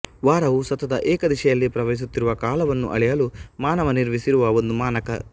ವಾರವು ಸತತ ಏಕದಿಶೆಯಲ್ಲಿ ಪ್ರವಹಿಸುತ್ತಿರುವ ಕಾಲವನ್ನು ಅಳೆಯಲು ಮಾನವ ನಿರ್ಮಿಸಿರುವ ಒಂದು ಮಾನಕ